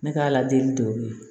Ne ka ladili de don olu ye